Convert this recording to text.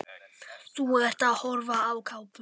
Þú ert að horfa á kápuna.